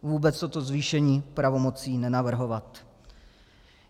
Vůbec toto zvýšení pravomocí nenavrhovat.